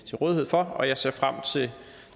til rådighed for jeg ser frem til